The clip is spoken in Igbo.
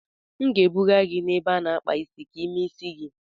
M ga-ebuga gị n'ebe a na-akpa isi ka ị mee isi gị.